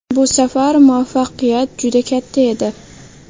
Bu safar muvaffaqiyat juda katta edi.